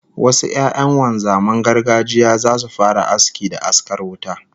Wasu 'ya'yan wanzaman gargajiya zasu fara aski da askar wuta